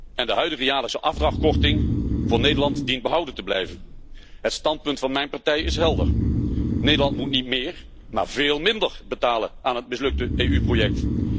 En de huidige jaarlijkse afdrachtkorting voor Nederland dient behouden te blijven. Het standpunt van mijn partij is helder Nederland moet niet méér, maar veel minder betalen aan het mislukte EU-project.